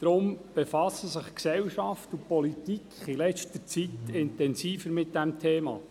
Deshalb befassen sich Gesellschaft und Politik in letzter Zeit intensiver mit diesem Thema.